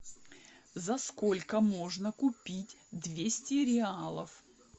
за сколько можно купить двести реалов